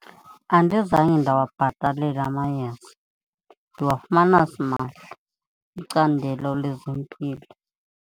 Andizange ndawabhatalela amayeza, ndiwafumana simahla kwicandelo lezempilo.